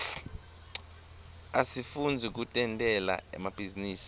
asifundzi kutentela emabhizinisi